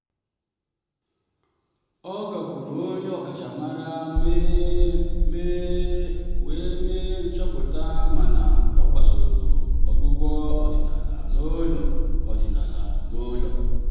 ọ gakwuuru onye ọkachamara wee mee nchọpụta mana ọ gbasoro ọgwụgwọ ọdịnala n'ụlọ. ọdịnala n'ụlọ.